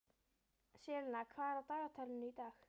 Selina, hvað er á dagatalinu í dag?